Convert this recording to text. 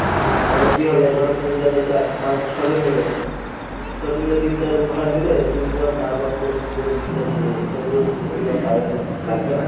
তাহলে কী হবে ধর তুমি গেলে চার পাঁচ ছয়জন মিলে। ছয়জন মিলে তিনটা room ভাড়া করে নিলে তিনজন তারপর তো সমুদ্র beach আছে এই সবগুলো তো ঘুরতে যাওয়ার time আছ~ লাগবে না?